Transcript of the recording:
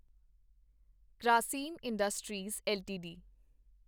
Grasim Industries LTD